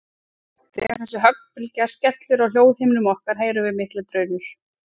Þegar þessi höggbylgja skellur á hljóðhimnum okkar heyrum við miklar drunur.